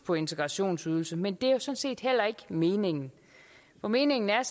på integrationsydelse men det er sådan set heller ikke meningen for meningen er